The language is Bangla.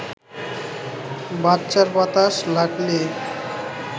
বাচ্চার বাতাস লাগলে